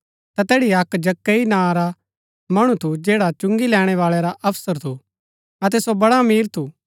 ता तैड़ी अक्क जक्कई नां रा मणु थू जैडा चुंगी लैणै बाळा रा अफसर थू अतै सो बड़ा अमीर थू